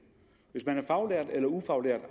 hvis man er faglært eller ufaglært